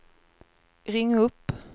ring upp